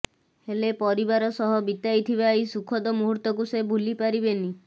ହେଲେ ପରିବାର ସହ ବିତାଇଥିବା ଏଇ ସୁଖଦ ମୁହୂର୍ତ୍ତକୁ ସେ ଭୁଲି ପାରିବେନି